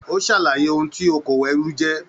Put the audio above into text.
O sàlàyé òun tó òkòwò ẹrú jẹ.